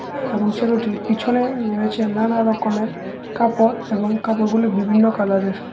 এবং ছেলেটির পিছনে রয়েছে নানা রকমের কাপড় এবং কাপড়গুলি বিভিন্ন কালারের।